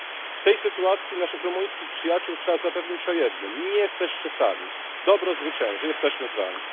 W tej sytuacji naszych rumuńskich przyjaciół trzeba zapewnić o jednym nie jesteście sami, dobro zwycięży, jesteśmy z wami.